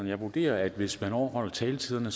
jeg vurderer at hvis man overholder taletiden